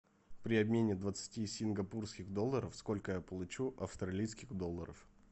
при обмене двадцати сингапурских долларов сколько я получу австралийских долларов